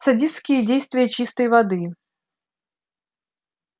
садистские действия чистой воды